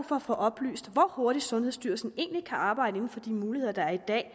for at få oplyst hvor hurtigt sundhedsstyrelsen egentlig kan arbejde inden for de muligheder der er i dag